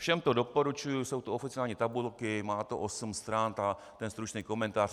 Všem to doporučuji, jsou to oficiální tabulky, má to osm stran, ten stručný komentář.